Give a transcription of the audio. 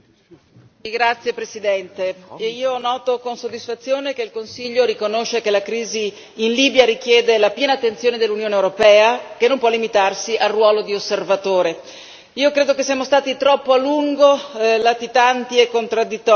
Signor Presidente, onorevoli colleghi, noto con soddisfazione che il Consiglio riconosce che la crisi in Libia richiede la piena attenzione dell'Unione europea, che non può limitarsi al ruolo di osservatore. Io credo che siamo stati troppo a lungo latitanti e contraddittori.